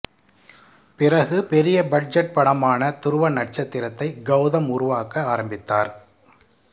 பிறகு பெரிய பட்ஜெட் படமான துருவ நட்சத்திரத்தை கௌதம் உருவாக்க ஆரம்பித்தார்